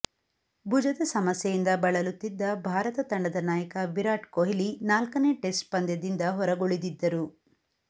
ಭುಜದ ಸಮಸ್ಯೆಯಿಂದ ಬಳಲುತಿದ್ದ ಭಾರತ ತಂಡದ ನಾಯಕ ವಿರಾಟ್ ಕೊಹ್ಲಿ ನಾಲ್ಕನೇ ಟೆಸ್ಟ್ ಪಂದ್ಯದಿಂದ ಹೊರಗುಳಿದಿದ್ದರು